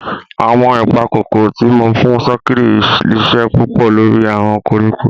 Awọn ipakokoro ti mo fun sokiri ṣiṣẹ pupọ lori awọn koriko.